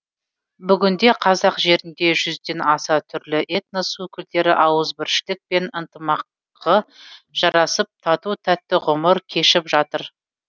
бүгінде қазақ жерінде жүзден аса түрлі этнос өкілдері ауызбіршілік пен ынтымағы жарасып тату тәтті ғұмыр кешіп жатыр